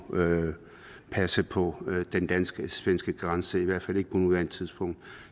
passe på den dansk svenske grænse i hvert fald ikke på nuværende tidspunkt